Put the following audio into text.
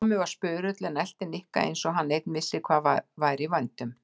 Tommi var spurull en elti Nikka eins og hann einn vissi hvað væri í vændum.